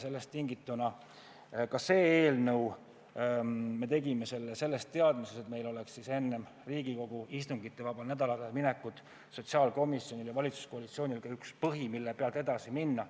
Sellest tingituna tegime ka selle eelnõu teadmises, et enne Riigikogu istungivabale nädalale minekut oleks sotsiaalkomisjonil ja valitsuskoalitsioonil üks põhi, millelt edasi minna.